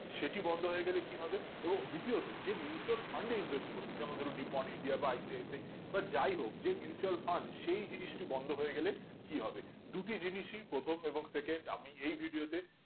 সেটি বন্ধ হয়ে গেলে কি হবে এবং দ্বিতীয়ত যে mutual fund এ invest করছো যেমন ধরো become india বা ips এ বা যাই হোক mutual fund সেই জিনিস টি বন্ধ হয়ে গেলে কি হবে দুটি জিনিসই প্রথম এবং second আমি এই video তে